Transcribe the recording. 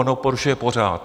On ho porušuje pořád.